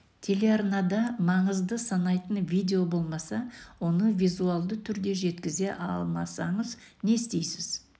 телеарнада маңызды санайтын видео болмаса оны визуалды түрде жеткізе алмасаңыз не істейсіз